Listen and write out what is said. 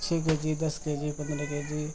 छह के.जी. दस के.जी. पन्द्रह के.जी. --